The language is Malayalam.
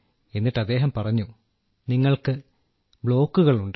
എന്നിട്ട് അദ്ദേഹം പറഞ്ഞു നിങ്ങൾക്ക് ബ്ലോക്കുകളുണ്ട്